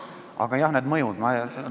Aga jah, need mõjud.